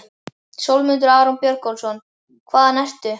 Sólmundur Aron Björgólfsson Hvaðan ertu?